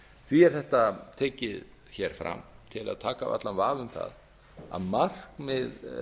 því er þetta tekið hér fram til að taka af allan vafa um það að markmið